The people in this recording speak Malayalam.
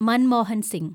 മൻമോഹൻ സിങ്